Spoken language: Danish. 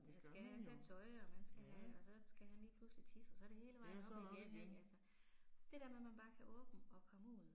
Man skal have et sæt tøj og man skal have og så skal han lige pludselig tisse og så er det hele vejen op igen ik altså. Det der med at man bare kan åbne og komme ud